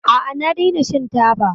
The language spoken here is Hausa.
A'a, na daina shan taba.